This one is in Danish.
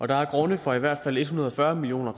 der er grunde for i hvert fald en hundrede og fyrre million